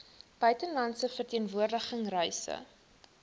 buitelandse verteenwoordiging reise